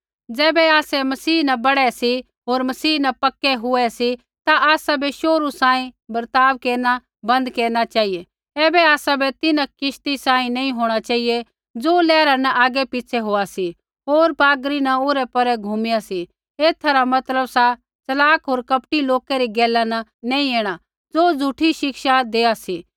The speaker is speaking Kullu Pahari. ज़ैबै आसै मसीह न बढ़ै सी होर मसीह न पक्कै हुए सी ता आसाबै शोहरु सांही बर्ताव केरना बन्द केरना चेहिऐ ऐबै आसाबै तिन्हां किश्ती सांही नैंई होंणा चेहिऐ ज़ो लैहरा न आगै पिछ़ै होआ सी होर हावा न ओरैपोरे घुमाईया सी एथा रा मतलब सा च़लाक होर कपटी लोका री गैला न नैंई ऐणा ज़ो झ़ूठी शिक्षा देआ सी